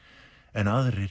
en aðrir